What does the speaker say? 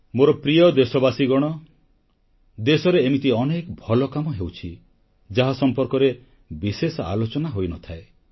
ମୋର ପ୍ରିୟ ଦେଶବାସୀଗଣ ଦେଶରେ ଏମିତି ଅନେକ ଭଲ କାମ ହେଉଛି ଯାହା ସମ୍ପର୍କରେ ବିଶେଷ ଆଲୋଚନା ହୋଇନଥାଏ